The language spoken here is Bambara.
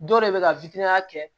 Dɔw de bɛ ka kɛ